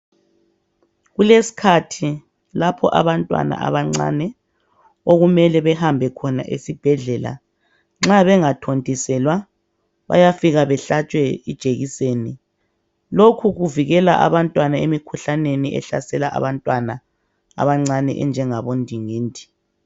Kulesikhathi lapho abantwana abancane okumele bahambe khona esibhedlela nxa bengathontiselwa bayafika behlatshwe ijekiseni. Lokhu kuvikela abantwana emikhuhlaneni ehlasela abantwana abancane enjengabondingindi.